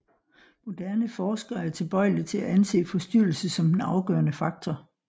Moderne forskere er tilbøjelige til at anse forstyrrelse som den afgørende faktor